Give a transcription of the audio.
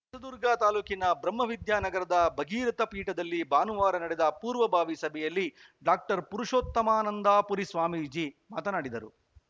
ಹೊಸದುರ್ಗ ತಾಲೂಕಿನ ಬ್ರಹ್ಮವಿದ್ಯಾನಗರದ ಭಗೀರಥ ಪೀಠದಲ್ಲಿ ಭಾನುವಾರ ನಡೆದ ಪೂರ್ವಭಾವಿ ಸಭೆಯಲ್ಲಿ ಡಾಕ್ಟರ್ ಪುರುಷೋತ್ತಮಾನಂದಪುರಿ ಸ್ವಾಮೀಜಿ ಮಾತನಾಡಿದರು